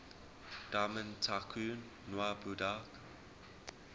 diamond tycoon nwabudike